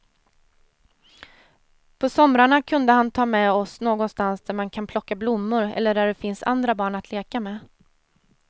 På somrarna kunde han ta med oss någonstans där man kan plocka blommor eller där det finns andra barn att leka med.